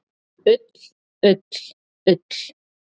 Ull, ull, ull!